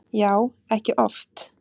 Já, ekki oft